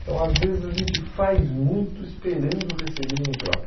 Então, às vezes a gente faz muito esperando receber em troca.